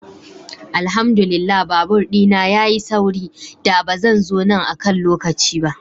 Alhamdu lillah babur dina ya yi sauri, da ba zan zo nan akan lokaci ba.